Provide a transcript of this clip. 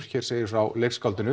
hér segir frá